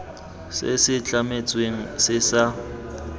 se se tlametsweng se sa